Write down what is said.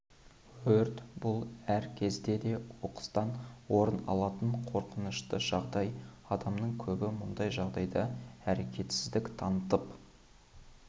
өрт бұл әр кезде де оқыстан орын алатын қорқынышты жағдай адамның көбі мұндай жағдайда әрекетсіздік танытып